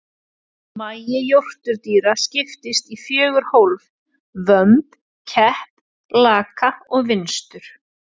Magi jórturdýra skiptist í fjögur hólf, vömb, kepp, laka og vinstur.